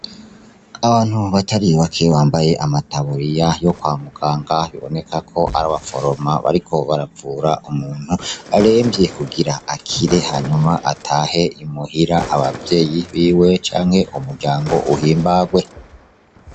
Abantu batari bake bambaye amataburiya yo kwa muganga biboneka ko ari aba foroma bariko baravura umuntu aremvye kugira akire hanyuma atahe imuhira abavyeyi biwe canke umuryango uhimbagwe.